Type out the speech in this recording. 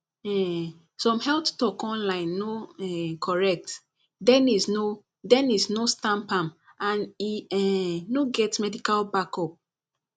um some health talk online no um correct denise no denise no stamp am and e um no get medical backup